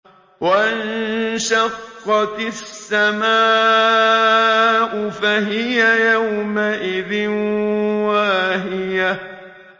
وَانشَقَّتِ السَّمَاءُ فَهِيَ يَوْمَئِذٍ وَاهِيَةٌ